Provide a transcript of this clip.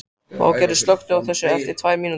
Végerður, slökktu á þessu eftir tvær mínútur.